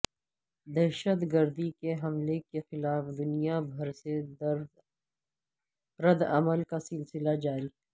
دہشتگردی کے حملے کے خلاف دنیا بھر سے ردعمل کا سلسلہ جاری